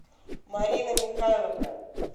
марина михайловна